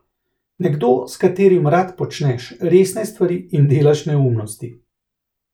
Nekdo, s katerim rad počneš resne stvari in delaš neumnosti.